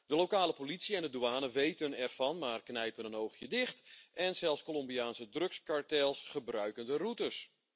De lokale politie en de douane weten ervan, maar knijpen een oogje dicht en zelfs Colombiaanse drugskartels gebruiken de routes.